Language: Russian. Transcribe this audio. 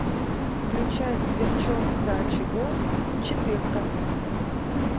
включай сверчок за очагом четырка